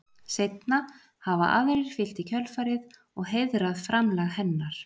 Seinna hafa aðrir fylgt í kjölfarið og heiðrað framlag hennar.